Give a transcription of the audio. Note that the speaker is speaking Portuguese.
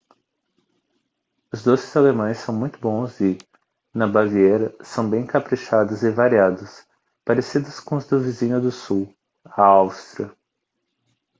os doces alemães são muito bons e na baviera são bem caprichados e variados parecidos com os do vizinho do sul a áustria